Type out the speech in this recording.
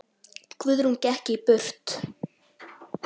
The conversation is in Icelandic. Guðrún gekk burt.